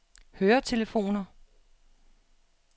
høretelefoner